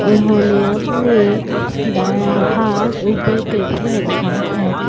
उन्होंने अपने दाया हाथ ऊपर करके रखा है।